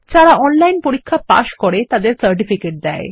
যারা অনলাইন পরীক্ষা পাস করে তাদের সার্টিফিকেট দেয়